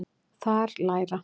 Þar læra